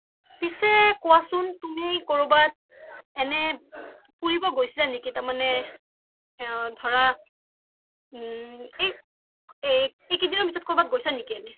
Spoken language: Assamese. পিছে কোৱাচোন তুমি কৰোবাত এনে ফুৰিব গৈছিলা নেকি তাৰ মানে ধৰা ও এই কেইদিনৰ ভিতৰত গৈছা নেকি এনে